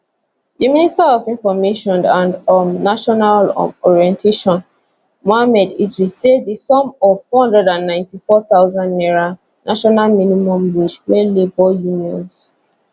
di minister for information and um national um orientation mohammed idris say di sum of n494000 national minimum wage wey labour unions